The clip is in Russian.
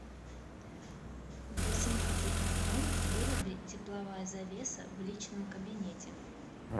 в восемнадцать ноль ноль выруби тепловая завеса в личном кабинете